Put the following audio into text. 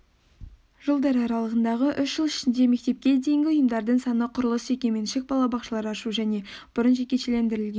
жылдар аралығындағы үш жыл ішінде мектепке дейінгі ұйымдардың саны құрылыс жекеменшік балабақшалар ашу және бұрын жекешелендірілген